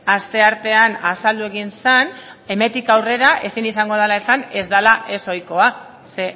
asteartean azaldu egin zen hemendik aurrera ezin izango dela esan ez dela ezohikoa ze